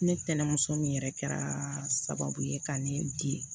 Ne tɛnɛnmuso min yɛrɛ kɛra sababu ye ka ne di